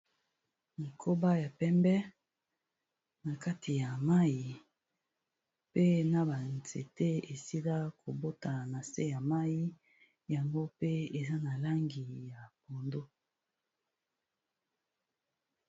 nkoba ya pembe na kati ya mai pe na banzete esila kobota na se ya mai yango pe eza na langi ya pondo